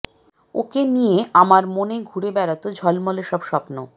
ওকে নিয়ে আমার মনে ঘুরে বেড়াতো ঝলমলে সব স্বপ্ন